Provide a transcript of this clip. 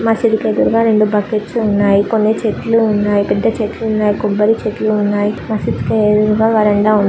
మసీద్ కు ఎదురుగా రెండు బకెట్స్ ఉన్నాయి కొన్ని చెట్లు ఉన్నాయి పెద్ద చెట్లు ఉన్నాయి కొబ్బరి చెట్లు ఉన్నాయి మసీద్ కి ఎదురుగా వరండా --